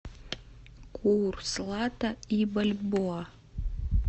курс лата и бальбоа